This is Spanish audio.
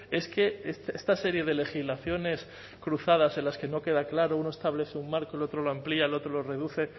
es que esta serie de legislaciones cruzadas en las que no queda claro uno establece un marco el otro lo amplía el otro lo reduce